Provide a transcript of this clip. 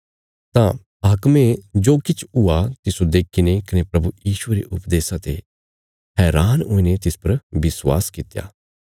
तां हाकमे जो किछ हुआ तिस्सो देखीने कने प्रभु यीशुये रे उपदेशा ते हैरान हुईने तिस पर विश्वास कित्या